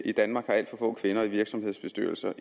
i danmark har alt for få kvinder i virksomhedernes bestyrelser